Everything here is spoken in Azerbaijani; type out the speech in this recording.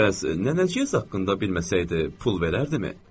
Bəs nənəciyəz haqqında bilməsəydi pul verərdimi?